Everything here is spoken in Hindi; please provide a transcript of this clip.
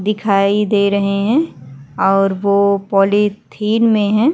दिखाई दे रहे हैं और वो पॉलिथीन में है।